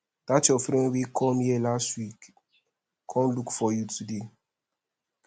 dat your friend wey come here last week come look for you today